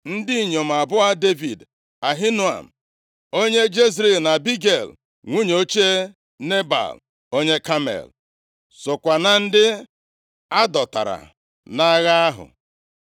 Ndị inyom abụọ Devid, Ahinoam onye Jezril na Abigel, nwunye ochie Nebal onye Kamel, sokwa na ndị a dọtara nʼagha ahụ.